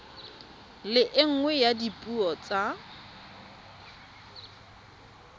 le nngwe ya dipuo tsa